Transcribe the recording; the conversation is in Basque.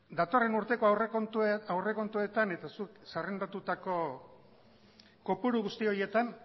datorren urteko aurrekontuetan eta zuk zerrendatutako kopuru guzti horietan